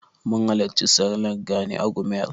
Mun halarci sallar Gani a Gumel.